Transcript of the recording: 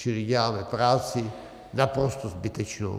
Čili děláme práci naprosto zbytečnou.